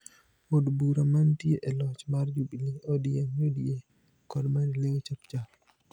Od bura mantie e loch mar Jubili, ODM, UDA kod Maendeleo Chap Chap